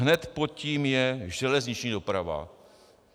Hned pod tím je železniční doprava.